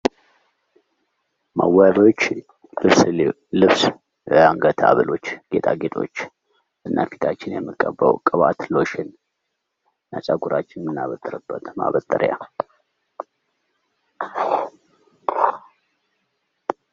መዋቢያዎች ለምሳሌ ልብስ፣ የአንገት ሀብሎች ጌጣጌጦች፣ እና ፊታችንን የምንቀባው ቅባት፣ ሎሽን፣ ፀጉራችንን እምናበጥርበት ማበጠሪያ